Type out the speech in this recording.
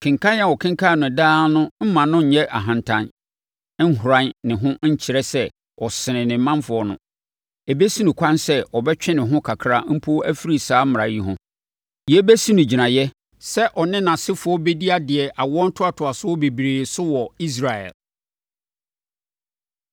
Kenkan a ɔkenkan no daa no remma ɔnyɛ ahantan, nhoran ne ho nkyerɛ sɛ ɔsene ne manfoɔ no. Ɛbɛsi no kwan sɛ ɔbɛtwe ne ho kakra mpo afiri saa mmara yi ho. Yei bɛsi no gyinaeɛ sɛ ɔne nʼasefoɔ bɛdi adeɛ awoɔ ntoatoasoɔ bebree so wɔ Israel.